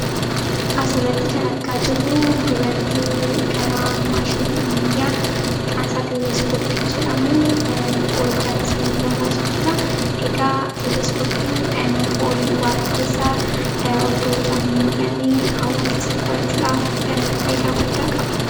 Asirratti kan argaa jirru dubartii karaa maashinii ammayyaa maqaan isaa 'Teleskooppii' jedhamuun ol gara samii ilaalaa jirtudha. Egaa Teleskooppiin ol waaqa keessaa iddoo ijaan hin mul'anne hawwaa keessa qorachuudhaaf faayidaa hedduu qaba.